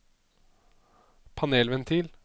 panelventil